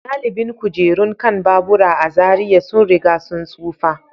Galibin kujerun kan babura a Zariya sun riga sun tsufa.